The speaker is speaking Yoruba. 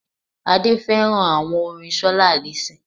Adé féràn àwon orin solá allyson